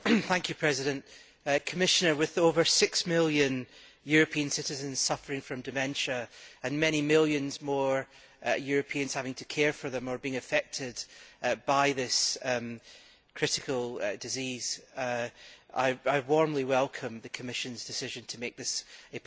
Commissioner, with over six million European citizens suffering from dementia and many millions more Europeans having to care for them or being affected by this critical disease, I warmly welcome the Commission's decision to make this a public health priority.